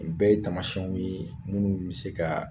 O Bɛɛ ye tamasɛnw ye munnu be se ka